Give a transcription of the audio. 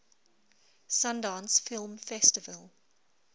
sundance film festival